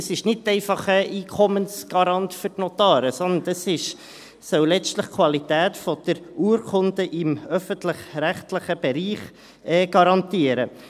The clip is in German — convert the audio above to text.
Das ist nicht einfach Einkommensgarant für die Notare, sondern es soll letztlich die Qualität der Urkunden im öffentlich-rechtlichen Bereich garantieren.